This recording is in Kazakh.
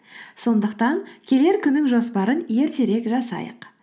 сондықтан келер күннің жоспарын ертерек жасайық